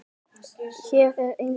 Hér er enginn.